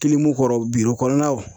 Kilimu kɔrɔ biro kɔnɔnaw